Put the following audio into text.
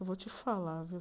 Eu vou te falar, viu?